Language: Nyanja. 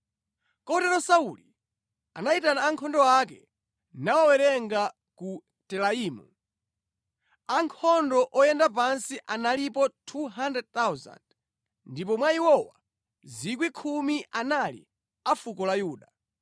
Kotero Sauli anayitana ankhondo ake nawawerenga ku Telaimu. Ankhondo oyenda pansi analipo 200,000 ndipo mwa iwowa 10,000 anali a fuko la Yuda.